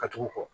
Ka tugu kɔ